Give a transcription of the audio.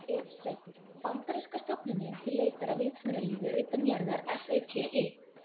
Vefsetur: Bandaríska stofnunin til leitar að vitsmunalífi utan jarðar, SETI.